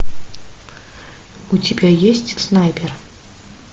у тебя есть снайпер